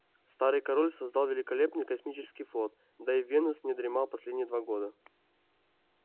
старый король создал великолепный космический флот да и венус не дремал последние два года